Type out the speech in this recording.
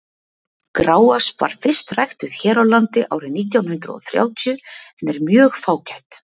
gráösp var fyrst ræktuð hér á landi árið nítján hundrað þrjátíu en er mjög fágæt